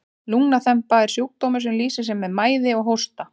lungnaþemba er sjúkdómur sem lýsir sér með mæði og hósta